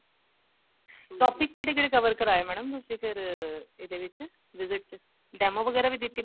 topic ਕਿਹੜੇ ਕਿਹੜੇ cover ਕਰਾਏ mam ਤੁਸੀਂ ਫ਼ੇਰ ਇਹਦੇ ਵਿੱਚ visit ਚ demo ਵਗੈਰਾ ਵੀ ਦਿੱਤੀ